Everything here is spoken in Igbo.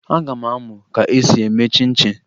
Aga m amụ ka esi eme chịn chịn